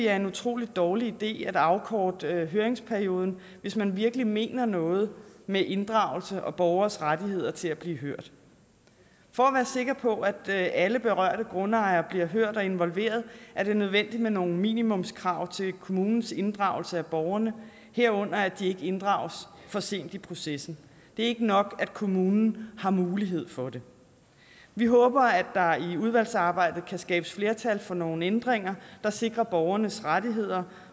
er en utrolig dårlig idé at afkorte høringsperioden hvis man virkelig mener noget med inddragelse og borgernes rettighed til at blive hørt for at være sikker på at alle berørte grundejere bliver hørt og involveret er det nødvendigt med nogle minimumskrav til kommunens inddragelse af borgerne herunder at de ikke inddrages for sent i processen det er ikke nok at kommunen har mulighed for det vi håber at der i udvalgsarbejdet kan skabes flertal for nogle ændringer der sikrer borgernes rettigheder